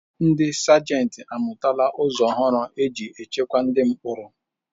Ndi Sajenti amụtala ụzọ ọhụrụ e si ejikwa ndi mkpọrọ.